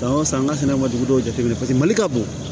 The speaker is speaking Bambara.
San o san an ka sɛnɛ ma dugu dɔw jateminɛ paseke mali ka bon